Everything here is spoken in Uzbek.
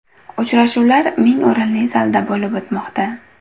Uchrashuvlar ming o‘rinli zalda bo‘lib o‘tmoqda.